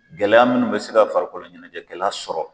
Gɛlɛya minnu bɛ se ka farikolo ɲɛnajɛkɛla sɔrɔ